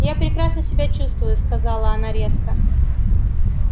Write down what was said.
я прекрасно себя чувствую сказала она резко